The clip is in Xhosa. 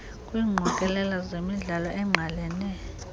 kwiingqokelela zemidlalo engqalene